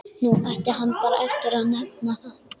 Nú átti hann bara eftir að nefna það.